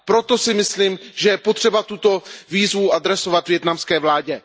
Proto si myslím, že je potřeba tuto výzvu adresovat vietnamské vládě.